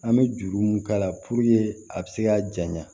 An bɛ juru mun k'a la puruke a bɛ se ka janɲa